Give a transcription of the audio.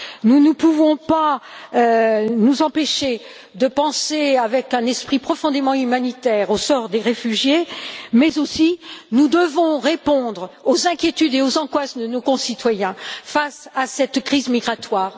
Nous ne pouvons pas nous empêcher de penser, avec un esprit profondément humanitaire, au sort des réfugiés, mais nous devons aussi répondre aux inquiétudes et aux angoisses de nos concitoyens face à cette crise migratoire.